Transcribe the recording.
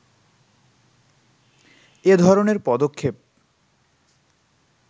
এ ধরনের পদক্ষেপ